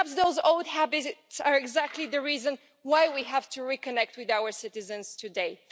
Perhaps those old habits are exactly the reason why we have to reconnect with our citizens today.